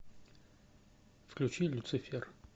включи люцифер